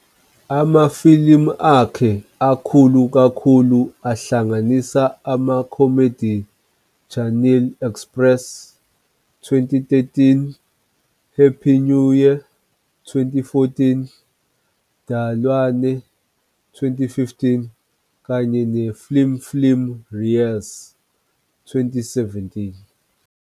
Amafilimu akhe akhulu kakhulu ahlanganisa ama-comedies Chennai Express, 2013, Happy New Year, 2014, Dilwale, 2015, kanye ne-film film Raees, 2017.